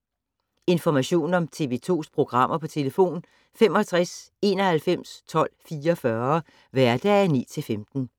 Information om TV 2's programmer: 65 91 12 44, hverdage 9-15.